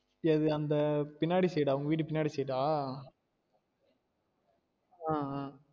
எது அந்த பின்னாடி side ஆஹ் உங்க வீடு பின்னாடி side ஆஹ் ஆஹ் ஆஹ்